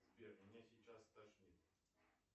сбер меня сейчас стошнит